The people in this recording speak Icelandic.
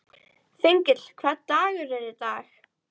Þengill, hvaða dagur er í dag?